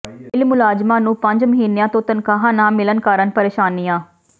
mill ਮੁਲਾਜ਼ਮਾਂ ਨੂੰ ਪੰਜ ਮਹੀਨਿਆਂ ਤੋਂ ਤਨਖਾਹਾਂ ਨਾ ਮਿਲਣ ਕਾਰਨ ਪ੍ਰੇਸ਼ਾਨੀਆਂ